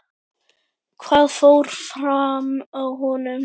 Hvað fór fram á honum?